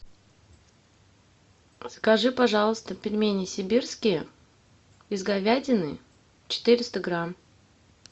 закажи пожалуйста пельмени сибирские из говядины четыреста грамм